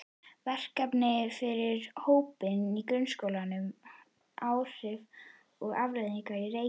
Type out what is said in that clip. Verkefni fyrir hópvinnu í grunnskólum um áhrif og afleiðingar reykinga.